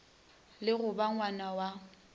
le go ba ngwna wa